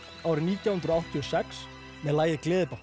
árið nítján hundruð áttatíu og sex með lagið